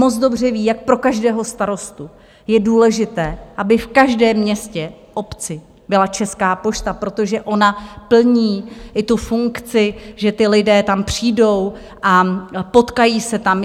Moc dobře ví, jak pro každého starostu je důležité, aby v každém městě, obci, byla Česká pošta, protože ona plní i tu funkci, že ti lidé tam přijdou a potkají se tam.